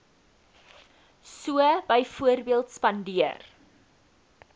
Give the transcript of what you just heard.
so byvoorbeeld spandeer